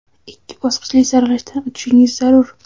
ikki bosqichli saralashdan o‘tishingiz zarur.